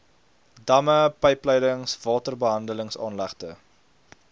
damme pypleidings waterbehandelingsaanlegte